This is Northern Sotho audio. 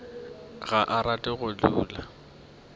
ga a rate go di